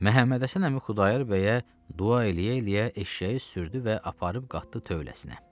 Məhəmmədhəsən əmi Xudayar bəyə dua eləyə-eləyə eşşəyi sürdü və aparıb qatdı tövləsinə.